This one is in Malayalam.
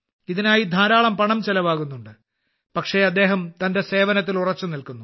ഇതിനായി ധാരാളം പണം ചിലവാകുന്നുണ്ട് പക്ഷേ അദ്ദേഹം തന്റെ സേവനത്തിൽ ഉറച്ചുനിൽക്കുന്നു